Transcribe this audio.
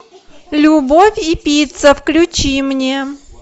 любовь и пицца включи мне